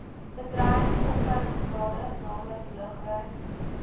bedryfsopleidingsrade naamlik lugruim